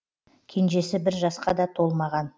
кенжесі бір жасқа да толмаған